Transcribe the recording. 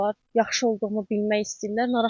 Yaxşı olduğumu bilmək istəyirlər.